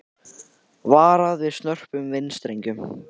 Varað við snörpum vindstrengjum